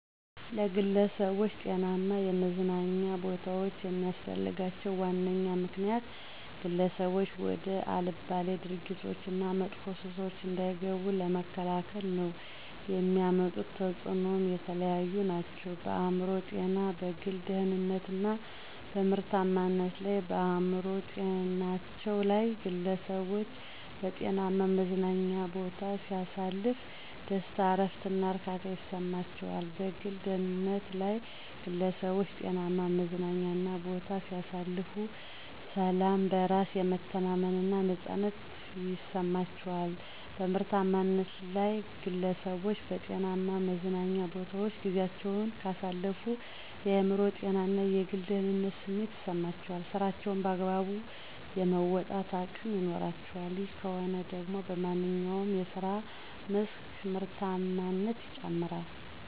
ለግለሠቦች ጤናማ የመዝናኛ ቦታዎች የሚስፈልጋቸው ዋነኛ ምክንያት፦ ግለሠቦች ወደ አልባሌ ድርጊቶች እና መጥፎ ሱሶች እንዳይገቡ ለመከላከል ነው። የሚያመጡት ተፅኖም የተለያዩ ናቸው፦ በአእምሮ ጤና፣ በግል ደህንነት እና በምርታማነት ላይ። -በአእምሮ ጤናቸው ላይ፦ ግለሠቦች በጤናማ መዝናኛ ቦታ ሲያሳልፉ ደስታ፣ እረፍት እና እርካታ ይሠማቸዋል። -በግል ደህንነታቸ ላይ ግለሠቦች ጤናማ መዝናኛ ቦታ ሲያሳልፉ፦ ሠላም፣ በራስ የመተማመን እና ነፃነት ይማቸዋል። -በምርታማነት ላይ፦ ግለሠቦች በጤናማ መዝናኞ ቦታወች ጊዚያቸውን ካሳለፉ የአእምሮ ጤና እና የግል ደህንነት ስሜት ይሠማቸዋል ስራቸውንም በአግባቡ የመወጣት አቅም ይኖራቸዋል። ይህ ከሆነ ደግሞ በማንኛው የስራ መስክ ምርታማነት ይጨምራል።